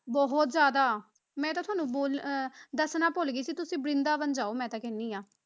ਬਹੁਤ ਜ਼ਿਆਦਾ ਮੈਂ ਤਾਂ ਤੁਹਾਨੂੰ ਬੋਲ~ ਅਹ ਦੱਸਣਾ ਭੁੱਲ ਗਈ ਸੀ ਤੁਸੀਂ ਬਰਿੰਦਾਬਨ ਜਾਓ ਮੈਂ ਤਾਂ ਕਹਿੰਦੀ ਹਾਂ,